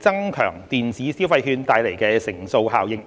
增強電子消費券帶來的乘數效應。